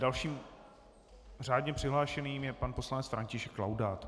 Dalším řádně přihlášeným je pan poslanec František Laudát.